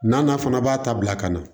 N'a na fana b'a ta bila ka na